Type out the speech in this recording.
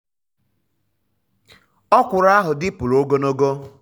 um ọkwụrụ ahụ dịpụrụ ogologo.